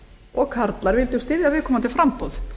og karlar vildu styðja viðkomandi framboð